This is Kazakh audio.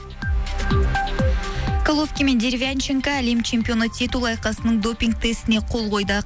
головкин мен деревянченко әлем чемпионы титулы айқасының допинг тестіне қол қойды